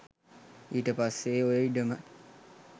ඊට පස්සේ ඔය ඉඩම